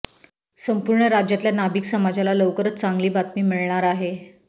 संपूर्ण राज्यातल्या नाभिक समाजाला लवकरच चांगली बातमी मिळणार आहे